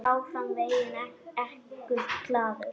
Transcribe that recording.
Áfram veginn ekur glaður.